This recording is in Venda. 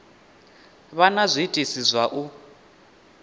vha na zwiitisi zwa u